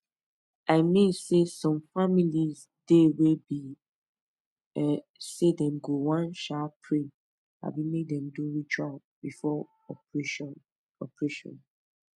i mean saysome family dey wey be um say dem go wan um pray abi make dem do ritual before operation operation